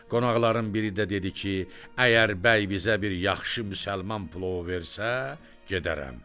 Qonaqların biri də dedi ki, əgər bəy bizə bir yaxşı müsəlman plovu versə, gedərəm.